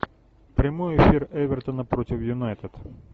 прямой эфир эвертона против юнайтед